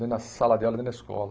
Nem na sala de aula, nem na escola.